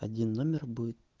один номер будет